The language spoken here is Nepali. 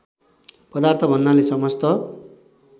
पदार्थ भन्नाले समस्त